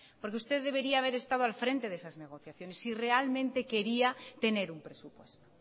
usted debería haber estado al frente de esas negociaciones si realmente quería tener un presupuesto